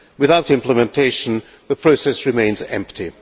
Without implementation, the process remains empty.